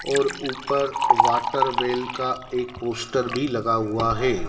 और ऊपर water well का एक पोस्टर भी लगा हुआ है।